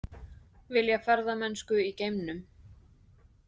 Vilja ferðamennsku í geimnum